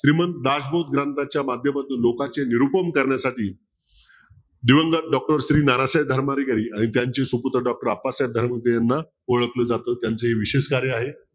श्रीमंत दासबोध ग्रंथाच्या माध्यमातून लोकांचे निरुपन करण्यासाठी दिवंगत doctor श्री नराशय धर्माधिकारी आणि त्यांचे सुपुत्र doctor अप्पासाहेब धर्माधिकारी याना ओळखलं जात. त्यांचं हे विशेष कार्य आहे.